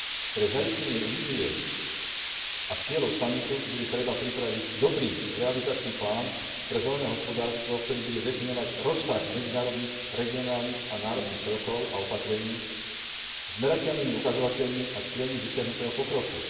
Pre zaistenie vízie a cieľov samitu bude treba pripraviť dobrý realizačný plán pre zelené hospodárstvo, ktorý bude definovať rozsah medzinárodných, regionálnych a národných krokov a opatrení, s merateľnými ukazovateľmi a cieľmi dosiahnutého pokroku.